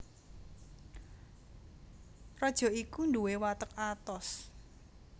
Raja iku nduwé watek atos